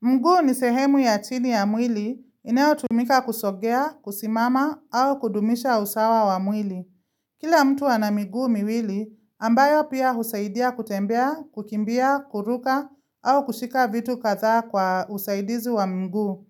Mguu ni sehemu ya chini ya mwili inayo tumika kusogea, kusimama au kudumisha usawa wa mwili. Kila mtu ana miguu miwili ambayo pia husaidia kutembea, kukimbia, kuruka au kushika vitu kadha kwa usaidizi wa mguu.